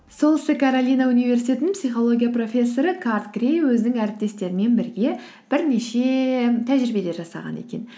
солтүстік каролина университетінің психология профессоры карт грей өзінің әріптестерімен бірге бірнеше тәжірибелер жасаған екен